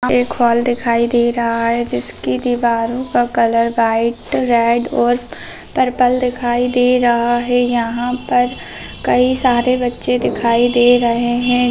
एक हॉल दिखाई दे रहा है जिसकी दीवारो का कलर वाइट रेड और पर्पल दिखाई दे रहा है यहाँ पर कई सारे बच्चे दिखाई दे रहे हैं।